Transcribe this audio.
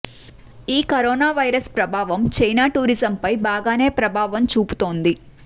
ఈ corona virus ప్రభావం China tourism రంగం పై బాగానే ప్రభావం చూపుతోంది